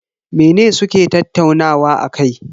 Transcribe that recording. Mene suke tattaunawa akai?